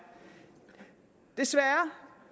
desværre